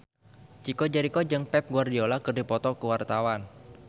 Chico Jericho jeung Pep Guardiola keur dipoto ku wartawan